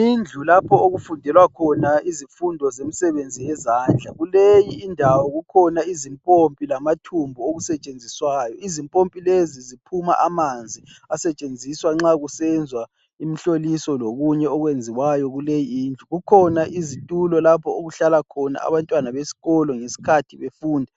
Indlu lapho okufundelwa khona izifundo zemisebenzi yezandla kuleyi indawo kukhona izimpompi lamathumbu okusetshenziswayo, izimpompi lezi ziphuma amanzi asetshenziswa nxa kusenzwa imhloliso lokunye okwenziwayo kuleyi indlu. Kukhona izitulo lapho okuhlala khona abantwana besikolo ngesikhathi befunda